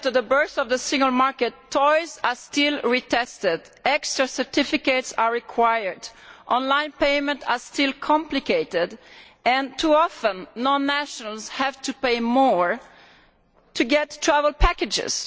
Mr President, twenty years after the birth of the single market toys are still retested, extra certificates are required, on line payment is still complicated and, too often, non nationals have to pay more to get travel packages.